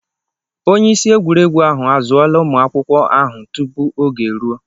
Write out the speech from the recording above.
Onye isi egwuregwu ahụ azụla ụmụ akwụkwọ ahụ tupu oge eruo.